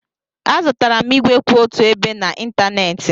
Azụtara m ígwè kwụ otu ebe n'ịntanetị.